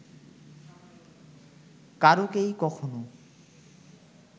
কারুকেই কখনো